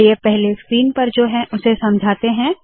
चलिए पहले स्क्रीन पर जो है उसे समझाते है